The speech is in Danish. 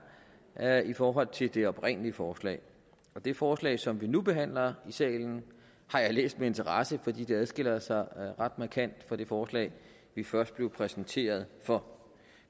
er i forhold til det oprindelige forslag det forslag som vi nu behandler i salen har jeg læst med interesse fordi det adskiller sig ret markant fra det forslag vi først blev præsenteret for